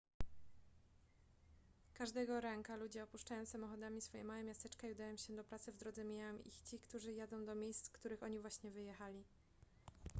każdego ranka ludzie opuszczają samochodami swoje małe miasteczka i udają się do pracy w drodze mijają ich ci którzy jadą do miejsc z których oni właśnie wyjechali